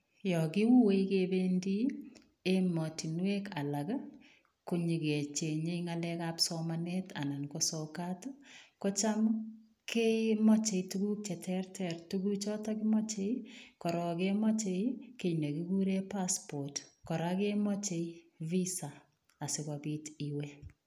Yaan kiuee kebendii ematinweek alaak ii ko nyoon kechengei ngaleek ab somanet anan ko sokaat ii kocham kemache tuguuk che terter tuguuk chotoon kemache korong kemachei kit nekikuren passport kora kemache visa asikobiit iweeh.